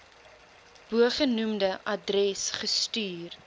bogenoemde adres gestuur